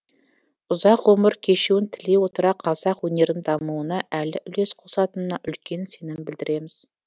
ұзақ ғұмыр кешуін тілей отыра қазақ өнерінің дамуына әлі үлес қосатынына үлкен сенім білдереміз